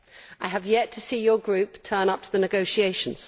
I have yet to see your group turn up to the negotiations.